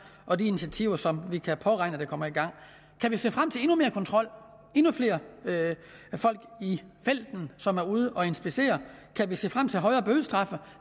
og de initiativer som vi kan påregne kommer i gang kan vi se frem til endnu mere kontrol og endnu flere folk i felten som er ude at inspicere kan vi se frem til højere bødestraffe